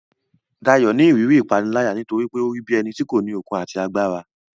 Dayo ni ìrírí ìpániláyà nítorí pé ó rí bí ẹni tí kò ní okun àti agbára.